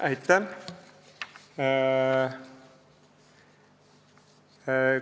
Aitäh!